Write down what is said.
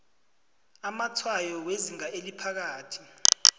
amatshwayo wezinga eliphakathi